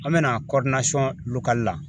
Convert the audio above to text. An bɛna la